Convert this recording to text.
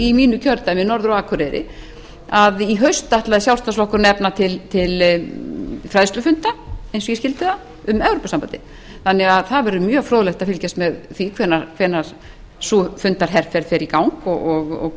í mínu kjördæmi norður á akureyri að í haust ætlar sjálfstæðisflokkurinn að efna til fræðslufunda eins og ég skildi það um evrópusambandið þannig að það verður mjög fróðlegt að fylgjast með því hvenær sú fundaherferð fer í gang og